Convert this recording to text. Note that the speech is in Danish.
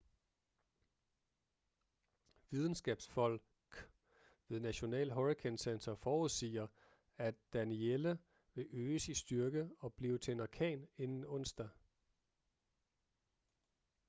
videnskabsfolk ved national hurricane center forudsiger at danielle vil øges i styrke og blive til en orkan inden onsdag